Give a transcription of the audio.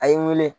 A ye n wele